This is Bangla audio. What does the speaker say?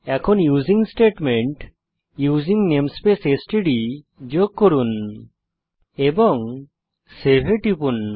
এখন ইউজিং স্টেটমেন্ট যোগ করুন এবং সেভ এ টিপুন